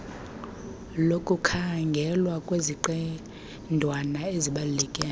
lokukhangelwa lweziqendawana ezibaluleke